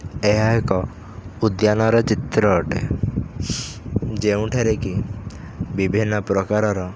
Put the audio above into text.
ଏହା ଏକ ଉଦ୍ୟାନ ର ଚିତ୍ର ଅଟେ ଯେଉଁଠାରେ କି ବିଭିନ୍ନ ପ୍ରକାରର--